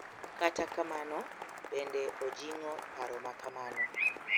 Kata kamano, bende ojing’o paro makamano .